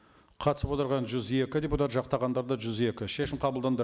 қатысып отырған жүз екі депутат жақтағандар да жүз екі шешім қабылданды